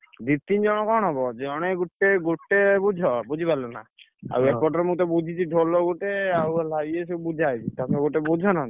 ଦି ତିନି ଜଣ କଣ ହବ, ଜଣେ ଗୋଟେ ଗୋଟେ ବୁଝ ବୁଝି ପାରିଲନା? ଆଉ ଏପଟରେ ତ ମୁଁ ବୁଝିଛି, ଢୋଲ ଗୋଟେ ଆଉ ଇଏ ସବୁ ବୁଝା ହେଇଛି ତମେ ଗୋଟେ ବୁଝ ନହେଲେ,